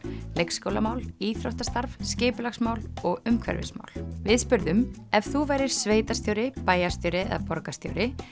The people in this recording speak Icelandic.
leikskólamál íþróttastarf skipulagsmál og umhverfismál við spurðum ef þú værir sveitarstjóri bæjarstjóri borgarstjóri